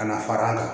Ka na fara an kan